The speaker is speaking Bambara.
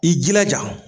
I jilaja